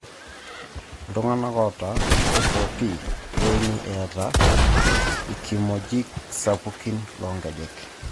Ltumganak ota FOP keini etaa ikimogik sapukin longejek.